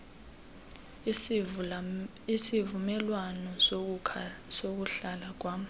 isivumelwano sokuhlala kwam